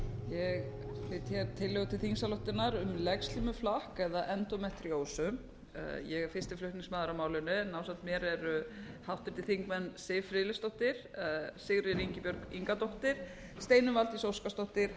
ég flyt tillögu til þingsályktunar um legslímuflakk eða endómetríósu ég er fyrsti flutningsmaður að málinu en ásamt mér eru háttvirtur þingmaður siv friðleifsdóttir sigríður ingibjörg ingadóttir steinunn valdís óskarsdóttir